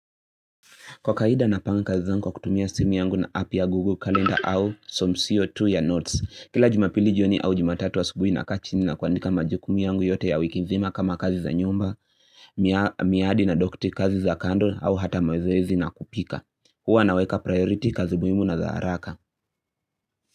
Kwa kawaida napanga kazi zangu kwa kutumia simu yangu na app ya Google Calendar au some CO2 ya notes. Kila jumapili jioni au jumatatu asubuhi nakaa chini na kuandika majukumu yangu yote ya wiki nzima kama kazi za nyumba, miadi na dokti kazi za kando au hata mazoezi na kupika. Huwa naweka priority kazi muhimu na za haraka.